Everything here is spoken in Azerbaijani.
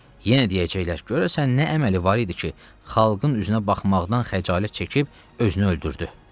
Yenə deyəcəklər, görəsən nə əməli var idi ki, xalqın üzünə baxmaqdan xəcalət çəkib özünü öldürdü.